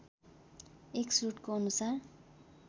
एक स्रोतको अनुसार